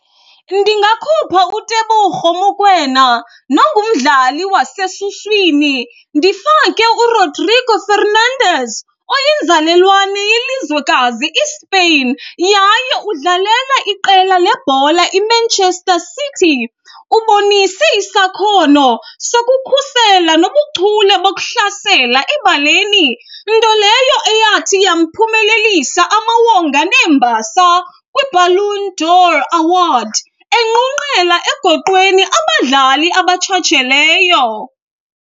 Ndingakhupha uTeboho Mokoena nongumdlali wasesuswini ndifake uRodrigo Fernandez oyinzalelwane yelizwekazi iSpain yaye udlalela iqela lebhola iManchester City. Ubonise isakhono sokukhusela nobuchule bokuhlasela ebaleni, nto leyo eyathi yamphumelelisa amawonga neembasa kwiBallon d'Or Award, enqunqela egoqweni abadlali abatshatsheleyo.